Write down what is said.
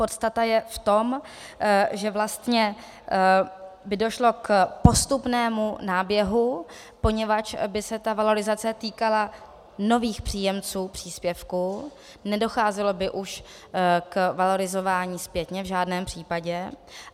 Podstata je v tom, že vlastně by došlo k postupnému náběhu, poněvadž by se ta valorizace týkala nových příjemců příspěvku, nedocházelo by už k valorizování zpětně, v žádném případě.